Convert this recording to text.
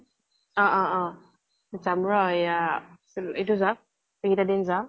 অ অ অ । যাম ৰʼ এয়া চিল এইতো যাওঁক , এইকেটা দিন যাওঁক